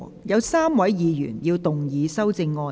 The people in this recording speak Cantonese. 有3位議員要動議修正案。